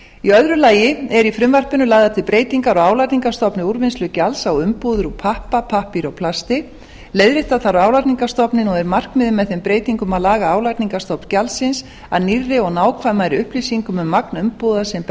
í öðru lagi eru í frumvarpinu lagðar til breytingar á álagningarstofni úrvinnslugjalds á umbúðir úr pappa pappír og plasti leiðrétta þarf álagningarstofninn og er markmiðið með þeim breytingum að laga álagningarstofn gjaldsins að nýrri og nákvæmari upplýsingum um magn umbúða sem